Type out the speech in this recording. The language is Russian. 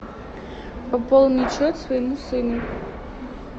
пополнить счет своему сыну